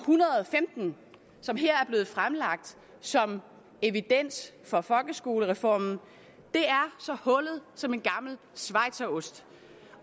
hundrede og femten som her er blevet fremlagt som evidens for folkeskolereformen er så hullet som en gammel schweizerost